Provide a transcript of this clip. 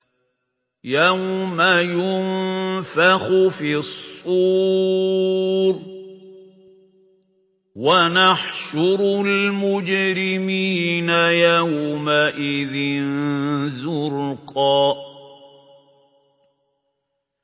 يَوْمَ يُنفَخُ فِي الصُّورِ ۚ وَنَحْشُرُ الْمُجْرِمِينَ يَوْمَئِذٍ زُرْقًا